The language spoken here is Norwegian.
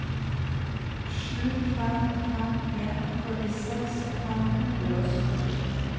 sju fem fem en førtiseks fem hundre og sytti